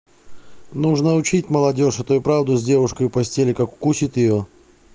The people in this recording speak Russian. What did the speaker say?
нужно учить молодёжь а то и в правду с девушкой в постели как укусит её